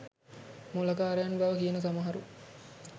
මොළකාරයන් බව කියන සමහරු